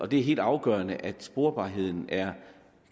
det er helt afgørende at sporbarheden